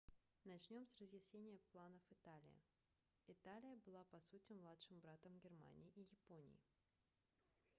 начнем с разъяснения планов италии италия была по сути младшим братом германии и японии